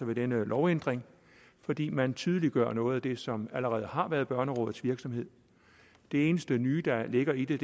ved denne lovændring fordi man tydeliggør noget af det som allerede har været børnerådets virksomhed det eneste nye der ligger i det